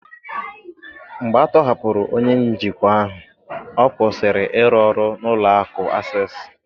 Mgbe a tọhapụrụ onye njikwa ahụ, ọ kwụsịrị ịrụ ọrụ n’ụlọ akụ̀ Access